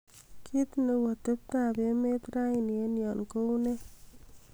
kiit neu atebtab emet raini en yon kounee